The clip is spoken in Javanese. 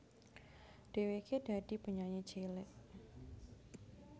Dhèwèké dadi penyanyi cilik